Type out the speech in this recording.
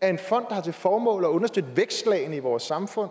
af en fond formål at understøtte vækstlagene i vores samfund